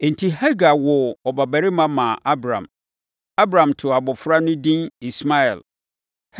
Enti Hagar woo ɔbabarima maa Abram. Abram too abɔfra no edin Ismael.